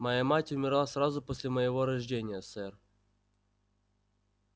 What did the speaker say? моя мать умерла сразу после моего рождения сэр